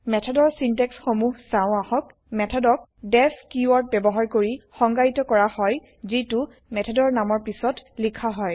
মেথডৰ চিন্টেক্স সমুহ চাও আহক160 মেথডক ডিইএফ কিৱৰ্দ বয়ৱহাৰ কৰি160 সংজ্ঞায়িত কৰা হয় যিটো মেথডৰ নামৰ পিছত লিখা হয়